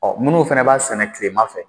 Ɔ munnu fɛnɛ b'a sɛnɛ kilema fɛ